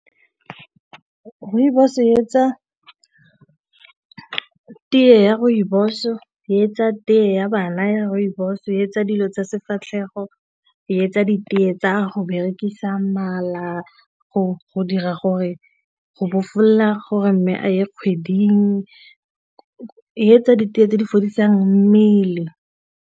Rooibos e etsa tee ya rooibos-o, e etsa tee ya bana ya rooibos, e etsa dilo tsa sefatlhego, e etsa ditee e tsa go berekisa mala go dira gore go bofolola gore mme a ye kgweding, e etsa ditee tse di fodisang mmele.